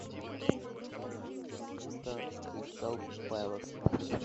матч борнмута с кристал пэлас